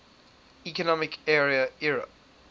economic area eea